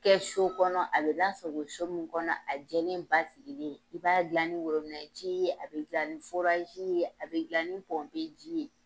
kɛ so kɔnɔ a bɛ lasago so min kɔnɔ a jɛlen basigilen i b'a gilan ni worobinɛ ji ye a bɛ gilan ni ye a bɛ gilan ni pɔmpe ji ye.